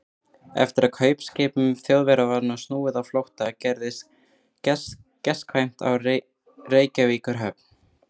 Eftir að kaupskipum Þjóðverja var snúið á flótta, gerðist gestkvæmt á Reykjavíkurhöfn.